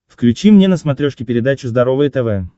включи мне на смотрешке передачу здоровое тв